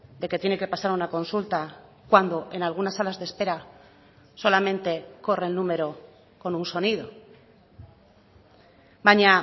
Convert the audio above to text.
de que tiene que pasar una consulta cuando en algunas salas de espera solamente corre el número con un sonido baina